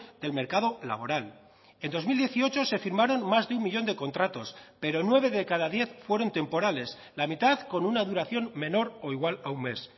del mercado laboral en dos mil dieciocho se firmaron más de un millón de contratos pero nueve de cada diez fueron temporales la mitad con una duración menor o igual a un mes